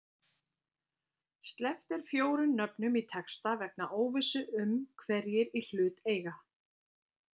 Sleppt er fjórum nöfnum í texta vegna óvissu um hverjir í hlut eiga